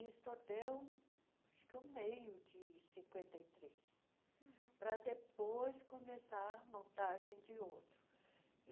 acho que, o meio de cinquenta e três, para depois começar a montagem de outro.